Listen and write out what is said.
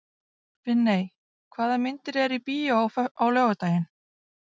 Finney, hvaða myndir eru í bíó á laugardaginn?